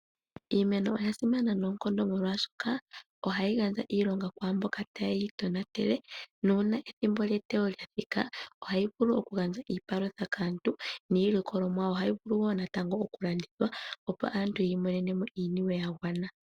Iimeno oya simana noonkondo molwashoka ohayi gandja iilonga ku mboka taye yi tonatele na uuna ethimbo lyeteyo lya thika , ohayi vulu okugandja iipalutha kaantu niillikoloomwa ohayi vulu wo natango okulandithwa opo aantu yi imonene mo iiniwe ya gwana.